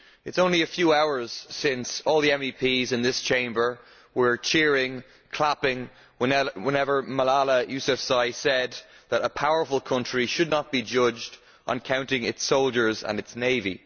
It is only a few hours since all the MEPs in this Chamber were cheering and clapping when Malala Yousafzai said that a powerful country should not be judged on counting its soldiers and its navy.